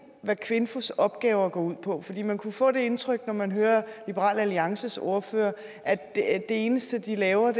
hvad kvinfos opgaver går ud på for man kunne få det indtryk når man hører liberal alliances ordfører at det eneste de laver